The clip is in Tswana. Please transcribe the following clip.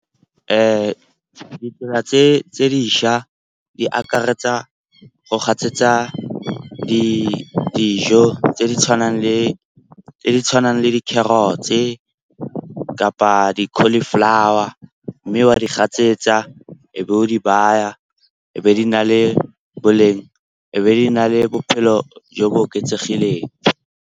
Ditsela tse dišwa di akaretsa go gatsetsa dijo tse di tshwanang le di-carrots-e kapa di-cauliflower. Mme wa di gatsetsa e be o di baya, e be di na le boleng, e be di na le bophelo jo bo oketsegileng.